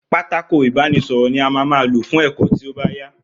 Pátákó ìbánísõrõ ni á má má ló fun èkó tío báyà